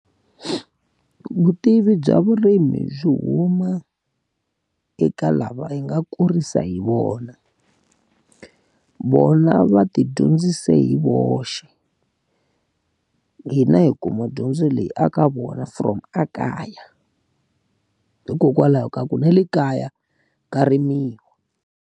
Vutivi bya vurimi byi huma eka lava hi nga kurisa hi vona. Vona va ti dyondzise hi voxe. Hina hi kuma dyondzo leyi a ka vona from ekaya. Hikokwalaho ka ku na le kaya ka rimiwa.